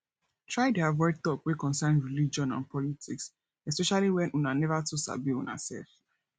try dey avoid talk wey concern religion and politics especially when una never too sabi una self